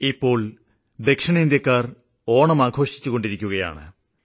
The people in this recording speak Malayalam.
വളരെ ദൂരെ ദക്ഷിണേന്ത്യാക്കാര് ഓണം ആഘോഷിക്കുന്നു